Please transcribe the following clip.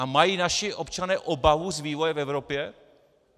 A mají naši občané obavu z vývoje v Evropě?